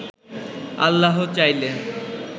আল্লাহ চাইলে